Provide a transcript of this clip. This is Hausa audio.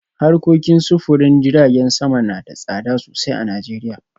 Harkokin sufurin jiragen sama na da tsada sosai a Najeriya